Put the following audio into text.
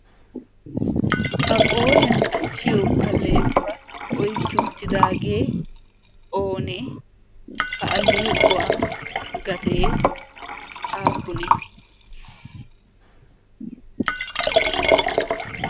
ha qooriyan qachchiyo alleequwaa oykki uttidaagee oonee ha alleequwaa gatee aappunee?